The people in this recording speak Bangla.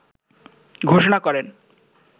ঘোষণা করেন